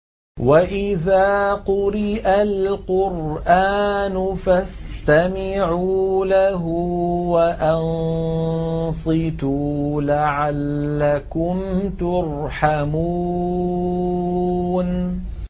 وَإِذَا قُرِئَ الْقُرْآنُ فَاسْتَمِعُوا لَهُ وَأَنصِتُوا لَعَلَّكُمْ تُرْحَمُونَ